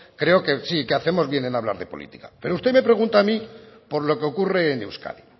creo sí que hacemos bien en hablar de política pero usted me pregunta a mí por lo que ocurre en euskadi